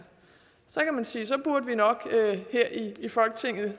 så kan man sige at vi her i folketinget